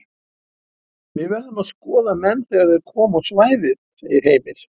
Við verðum að skoða menn þegar þeir koma á svæðið segir Heimir.